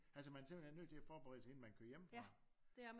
Altså man er simpelthen nødt til at forberede sig inden man kører hjemmefra